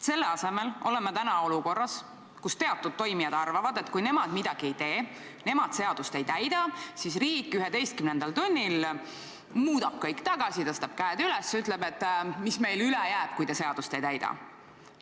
Aga täna oleme olukorras, kus teatud tegijad arvavad, et kui nemad midagi ei tee, kui nemad seadust ei täida, siis riik 11. tunnil muudab kõik tagasi, tõstab käed üles ja ütleb, et mis meil ikka üle jääb, kui te seadust ei täida.